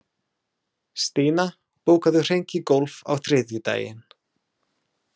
Stína, bókaðu hring í golf á þriðjudaginn.